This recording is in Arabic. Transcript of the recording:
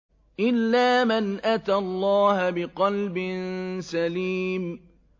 إِلَّا مَنْ أَتَى اللَّهَ بِقَلْبٍ سَلِيمٍ